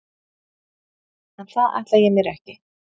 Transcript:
En það ætla ég mér ekki!